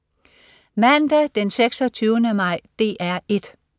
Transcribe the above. Mandag den 26. maj - DR 1: